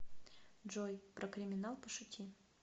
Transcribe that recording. джой про криминал пошути